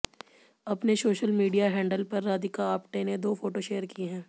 अपने social media handle पर राधिका आप्टे ने दो फोटो शेयर की हैं